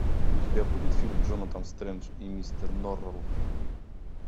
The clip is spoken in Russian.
у тебя будет фильм джонатан стрендж и мистер норрелл